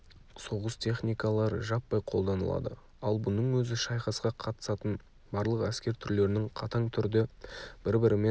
соғыс техникалары жаппай қолданылады ал бұның өзі шайқасқа қатысатын барлық әскер түрлерінің қатаң түрде бір-бірімен